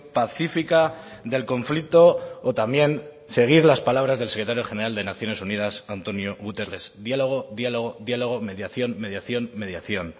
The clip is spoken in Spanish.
pacífica del conflicto o también seguir las palabras del secretario general de naciones unidas antónio guterres diálogo diálogo diálogo mediación mediación mediación